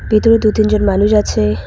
ভিতরে দু তিনজন মানুষ আছে।